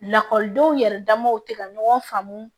Lakɔlidenw yɛrɛ damaw tɛ ka ɲɔgɔn faamu